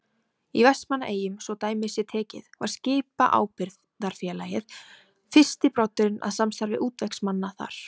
Í Vestmannaeyjum, svo dæmi sé tekið, var Skipaábyrgðarfélagið fyrsti broddurinn að samstarfi útvegsmanna þar.